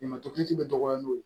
Ɲamatigɛ bɛ dɔgɔya n'o ye